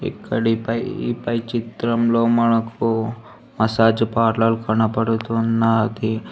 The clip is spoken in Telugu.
ఇక్కడి పై చిత్రంలో మసాజ్ పార్లర్ కనబడుతూ ఉన్నది.